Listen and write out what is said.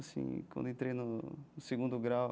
Assim, quando eu entrei no no segundo grau.